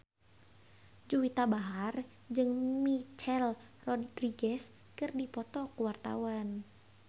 Juwita Bahar jeung Michelle Rodriguez keur dipoto ku wartawan